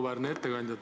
Auväärne ettekandja!